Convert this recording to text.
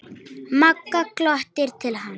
Magga glottir til hans.